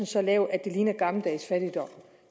så lav at det ligner gammeldags fattigdom